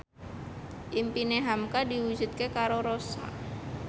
impine hamka diwujudke karo Rossa